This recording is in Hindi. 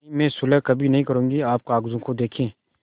नहीं मैं सुलह कभी न करुँगी आप कागजों को देखें